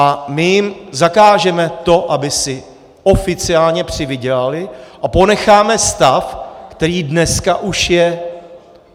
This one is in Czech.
A my jim zakážeme to, aby si oficiálně přivydělali, a ponecháme stav, který dneska už je.